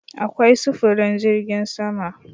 Akwai sufurin jirgin sama